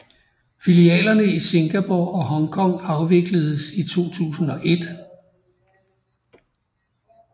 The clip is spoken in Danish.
Filialerne i Singapore og Hong Kong afvikledes i 2001